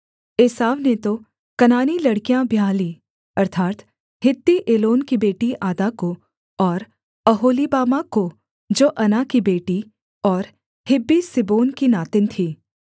एसाव ने तो कनानी लड़कियाँ ब्याह लीं अर्थात् हित्ती एलोन की बेटी आदा को और ओहोलीबामा को जो अना की बेटी और हिब्बी सिबोन की नातिन थी